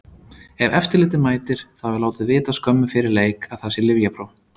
Ef eftirlitið mætir, þá er látið vita skömmu fyrir leik að það sé lyfjapróf.